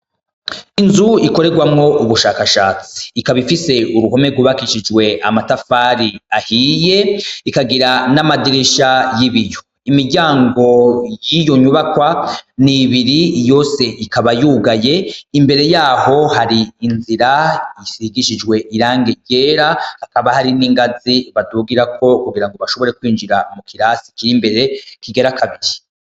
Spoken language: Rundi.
Inzu ikorerwamwo ubushakashatsi ikaba ifise uruhome rwubakishijwe amatafari ahiye ikagira n'amadirisha y'ibiyo imiryango yiyo nyubakwa n'ibiri yose ikaba yugaye imbere yaho hari inzira isigishijwe irangi ryera hakaba hari n'ingazi badugirako kugira ngo bashobore kwinjira mu kirasi kiri imbere kigira kabiri.